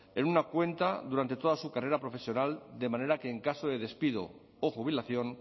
en una cuenta durante toda su carrera profesional de manera que en caso de despido o jubilación